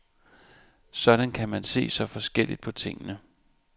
Sådan kan man se så forskelligt på tingene.